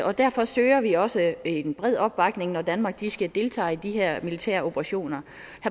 og derfor søger vi også en bred opbakning når danmark skal deltage i de her militæroperationer